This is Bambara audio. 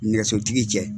Nɛgɛsotigi cɛ